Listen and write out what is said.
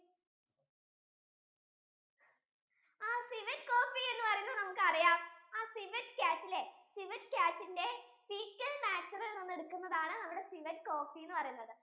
ആഹ് civet coffee എന്ന് പറയുന്നത് നമുക്ക് അറിയാം civet cat അല്ലെ civet cat ഇന്റെ എടുക്കുന്നതാണ് നമ്മുടെ civet coffee എന്ന് പറയുന്നത്